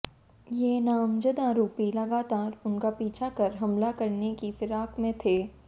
ये नामजद आरोपी लगातार उनका पीछा कर हमला करने की फिराक में थे